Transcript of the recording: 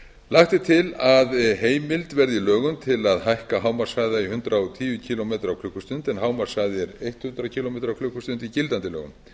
lagt er til að heimild verði í lögum til að hækka hámarkshraða í hundrað og tíu kílómetra á klukkustund en hámarkshraði er hundrað kílómetra á klukkustund í gildandi lögum